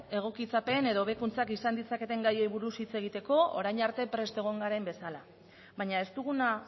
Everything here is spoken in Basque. egokitzapen edo hobekuntza izan ditzaketen gaiei buruz hitz egiteko orain arte prest egon garen bezala baina ez duguna